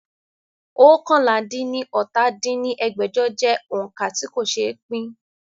oókànlá-dín-ní-ọ́ta dín ní ẹgbẹ́jọ jẹ́ òońkà tí kò ṣe pín